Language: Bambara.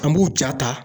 An b'u ja ta